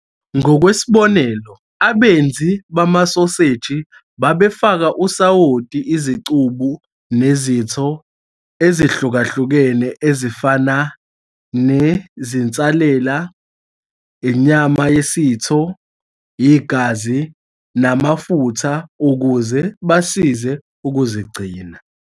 Ngokwesiko, abenzi bamasoseji babefaka usawoti izicubu nezitho ezihlukahlukene ezifana nezinsalela, inyama yesitho, igazi, namafutha ukuze basize ukuzigcina.